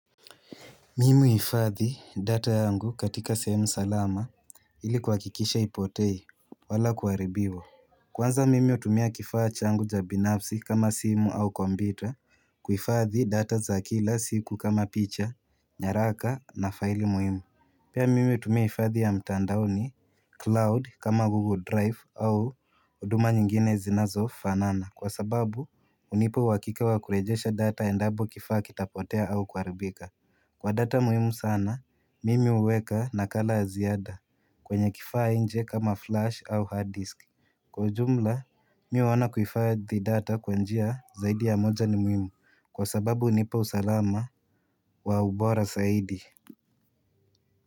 Mimi huhifadhi data yangu katika sehemu salama ili kuhakikisha haipotei wala kuharibiwa Kwanza mimi hutumia kifaa changu cha binafsi kama simu au kompyuta kuhifadhi data za kila siku kama picha, nyaraka na faili muhimu Pia mimi hutumia hifadhi ya mtandaoni cloud kama google drive au huduma nyingine zinazofanana kwa sababu hunipa uhakika wa kurejesha data endapo kifaa kitapotea au kuharibika Kwa data muhimu sana, mimi huweka nakala ya ziada kwenye kifaa nje kama flash au hard disk. Kwa jumla, mimi huona kuhifadhi data kwa njia zaidi ya moja ni muhimu kwa sababu hunipa usalama wa ubora zaidi.